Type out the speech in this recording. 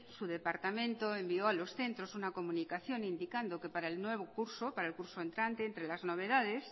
su departamento envió a los centros una comunicación indicando que para el nuevo curso para el curso entrante entre las novedades